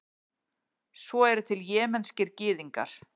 svo eru til jemenskir gyðingar